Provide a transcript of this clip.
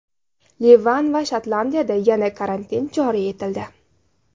Livan va Shotlandiyada yana karantin joriy etildi.